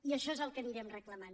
i això és el que anirem reclamant